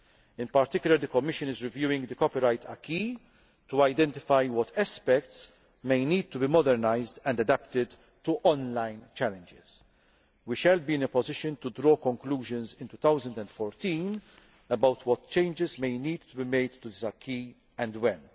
sphere. In particular, the Commission is reviewing the copyright acquis to identify what aspects may need to be modernised and adapted to on line challenges. We shall be in a position to draw conclusions in 2014 about what changes may need to be made to the acquis,